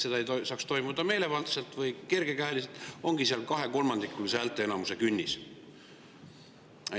Selleks, et see ei saaks toimuda meelevaldselt või kergekäeliselt, ongi seal kahekolmandikulise häälteenamuse künnis.